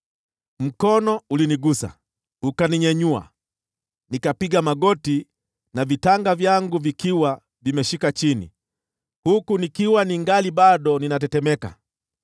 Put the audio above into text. Mkono ulinigusa, ukaninyanyua, na kuniweka nikipiga magoti na mikono yangu ikashika chini, huku nikiwa bado ninatetemeka.